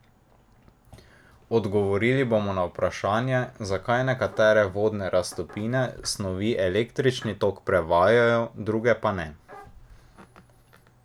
Odgovorili bomo na vprašanje, zakaj nekatere vodne raztopine snovi električni tok prevajajo, druge pa ne.